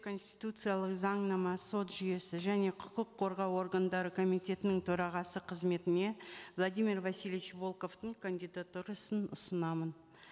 конституциялық заңнама сот жүйесі және құқық қорғау органдары комитетінің төрағасы қызметіне владимир васильевич волковтың кандидатурасын ұсынамын